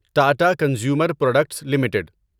Tata consumer products limited